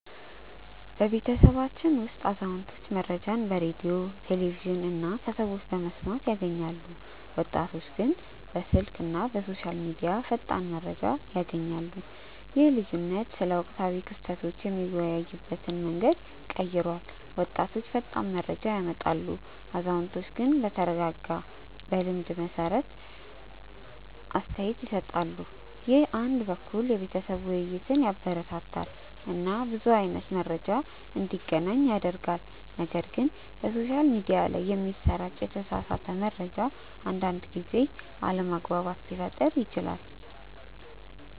በቤተሰባችን ውስጥ አዛውንቶች መረጃን በሬዲዮ፣ ቴሌቪዥን እና ከሰዎች በመስማት ያገኛሉ፣ ወጣቶች ግን በስልክ እና በሶሻል ሚዲያ ፈጣን መረጃ ያገኛሉ። ይህ ልዩነት ስለ ወቅታዊ ክስተቶች የምንወያይበትን መንገድ ቀይሯል፤ ወጣቶች ፈጣን መረጃ ያመጣሉ፣ አዛውንቶች ግን በተረጋጋ እና በልምድ የተመሰረተ አስተያየት ይሰጣሉ። ይህ አንድ በኩል የቤተሰብ ውይይትን ያበረታታል እና ብዙ አይነት መረጃ እንዲገናኝ ያደርጋል፣ ነገር ግን በሶሻል ሚዲያ ላይ የሚሰራጭ የተሳሳተ መረጃ አንዳንድ ጊዜ አለመግባባት ሊፈጥር ይችላል